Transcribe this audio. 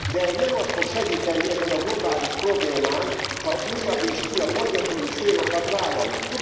De nem az fog segíteni ezen a globális problémán, ha újabb és újabb nagyratörő célokat vállalunk.